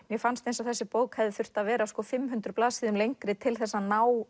mér fannst eins og þessi bók hefði þurft að vera fimm hundruð blaðsíðum lengri til þess að ná